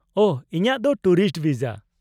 -ᱳᱦᱚ, ᱤᱧᱟᱹᱜ ᱫᱚ ᱴᱩᱨᱤᱥᱴ ᱵᱷᱤᱥᱟ ᱾